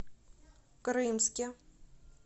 крымске